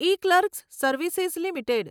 eClerx service limited